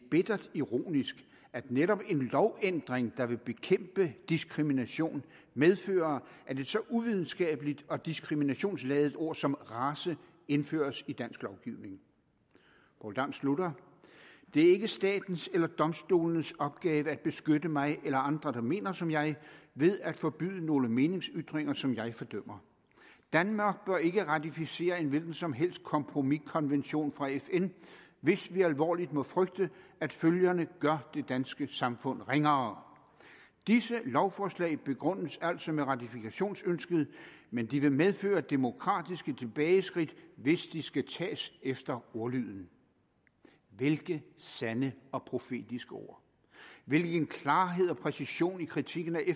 bittert ironisk at netop en lovændring der vil bekæmpe diskrimination medfører at et så uvidenskabeligt og diskriminationsladet ord som ordet race indføres i dansk lovgivning poul dam slutter det er ikke statens eller domstolenes opgave at beskytte mig eller andre der mener som jeg ved at forbyde nogle meningsytringer som jeg fordømmer … danmark bør ikke ratificere en hvilken som helst kompromiskonvention fra fn hvis vi alvorligt må frygte at følgerne gør det danske samfund ringere disse lovforslag begrundes altså med ratifikationsønsket men de vil medføre demokratiske tilbageskridt hvis de da skal tages efter ordlyden hvilke sande og profetiske ord hvilken klarhed og præcision i kritikken af